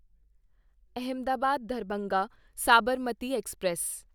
Ahmedabad Darbhanga Sabarmati express